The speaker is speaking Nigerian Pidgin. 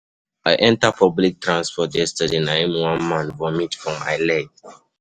I enter public transport yesterday na im one man vomit for my leg